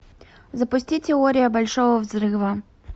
запусти теория большого взрыва